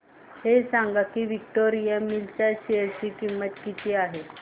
हे सांगा की विक्टोरिया मिल्स च्या शेअर ची किंमत काय आहे